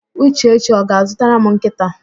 Uchechi ọ ga-azụtara m nkịta?